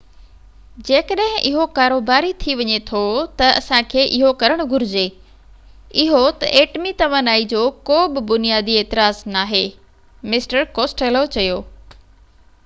جيڪڏهن اهو ڪاروباري ٿي وڃي ٿو ته اسان کي اهو ڪرڻ گهرجي اهو ته ايٽمي توانائي جو ڪو به بنيادي اعتراض ناهي مسٽر ڪوسٽيلو چيو